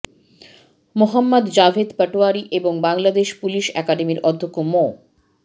মোহাম্মদ জাভেদ পাটোয়ারী এবং বাংলাদেশ পুলিশ একাডেমির অধ্যক্ষ মো